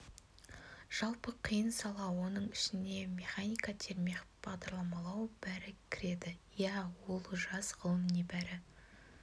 жалпы қиын сала оның ішіне механика термех бағдарламалау бәрі кіреді иә ол жас ғылым небәрі